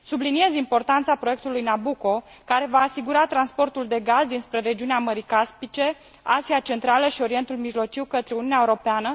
Subliniez importanța proiectului Nabucco, care va asigura transportul de gaz dinspre regiunea Mării Caspice, Asia Centrală și Orientul Mijlociu către Uniunea Europeană.